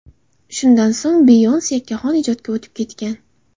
Shundan so‘ng Beyonce yakkaxon ijodga o‘tib ketgan.